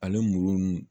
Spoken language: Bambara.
Ale muru nunnu